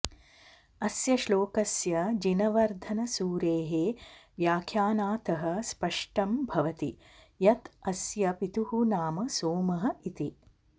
अस्य श्लोकस्य जिनवर्धनसूरेः व्याख्यानतः स्पष्टं भवति यत् अस्य पितुः नाम सोमः इति